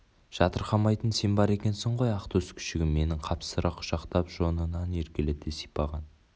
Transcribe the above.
жатырқамайтын сен бар екенсің ғой ақтөс күшігім менің қапсыра құшақтап жонынан еркелете сипаған